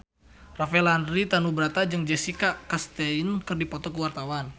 Rafael Landry Tanubrata jeung Jessica Chastain keur dipoto ku wartawan